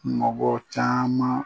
Mɔgɔ caman